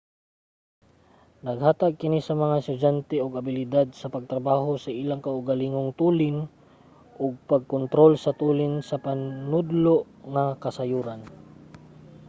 naghatag kini sa mga estudyante og abilidad sa pagtrabaho sa ilang kaugalingong tulin ug pag-kontrol sa tulin sa panudlo nga kasayuran